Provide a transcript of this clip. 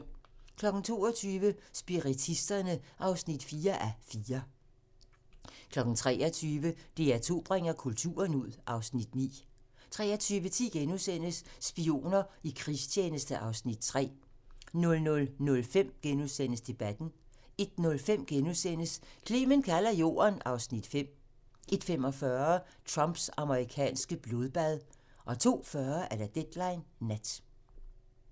22:00: Spiritisterne (4:4) 23:00: DR2 bringer kulturen ud (Afs. 9) 23:10: Spioner i krigstjeneste (Afs. 3)* 00:05: Debatten * 01:05: Clement kalder Jorden (Afs. 5)* 01:45: Trumps amerikanske blodbad 02:40: Deadline Nat